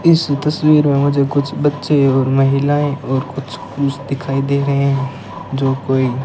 इस तस्वीर में मुझे कुछ बच्चे और महिलाएं और कुछ पुरुष दिखाई दे रहे हैं जो कोई --